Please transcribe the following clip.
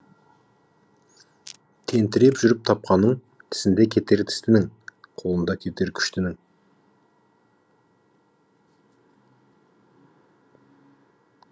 тентіреп жүріп тапқаның тісінде кетер тістінің қолында кетер күштінің